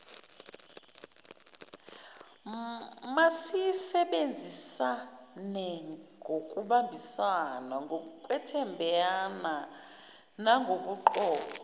mayisebenzisanengokubambisana ngokwethembana nagobuqotho